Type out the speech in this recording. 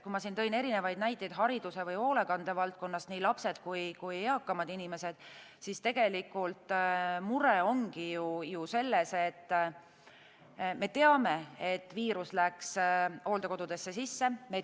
Kui ma tõin erinevaid näiteid hariduse või hoolekande valdkonnast, nii lastest kui ka eakamatest inimestest, siis tegelikult mure ongi ju selles, et viirus läks hooldekodudesse.